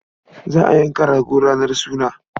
Za a yanka rago ranar suna.